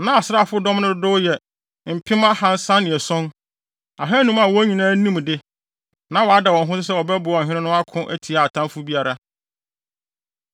Na asraafodɔm no dodow yɛ mpem ahaasa ne ason, ahannum a wɔn nyinaa nim de. Na wɔada wɔn ho so sɛ wɔbɛboa ɔhene no ako atia ɔtamfo biara.